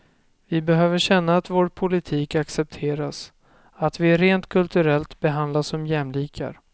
Vi behöver känna att vår politik accepteras, att vi rent kulturellt behandlas som jämlikar.